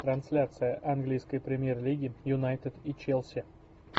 трансляция английской премьер лиги юнайтед и челси